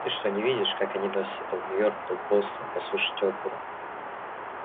ты что не видишь как они носятся то в нью-йорк то в бостон послушать оперу